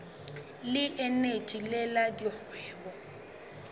le eneji le la dikgwebo